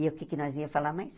E o que é que nós íamos falar mais?